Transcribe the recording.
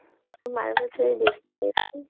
মারুল এর ছবি দেখি নিরে ভাই